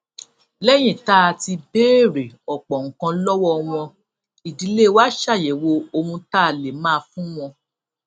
léyìn tá a ti béèrè òpò nǹkan lówó wọn ìdílé wa ṣàyèwò ohun tá a lè máa fún wọn